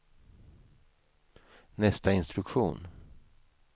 nästa instruktion